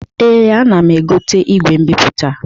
Ee, ana m egote igwe mbipụta.